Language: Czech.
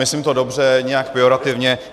Myslím to dobře, nijak pejorativně.